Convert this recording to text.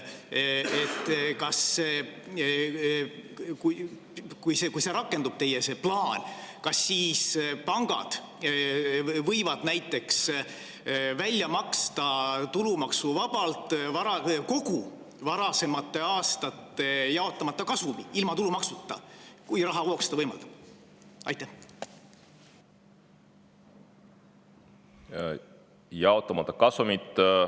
Kui rakendub see teie plaan, kas siis pangad võivad näiteks tulumaksuvabalt välja maksta kogu varasemate aastate jaotamata kasumi, kui rahavoog seda võimaldab, ilma tulumaksuta?